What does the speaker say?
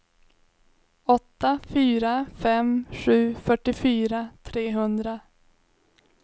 åtta fyra fem sju fyrtiofyra trehundra